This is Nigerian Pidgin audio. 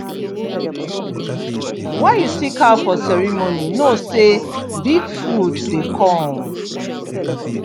when you see cow for ceremony know say big food dey come